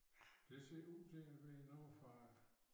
Det ser ud til at være noget fra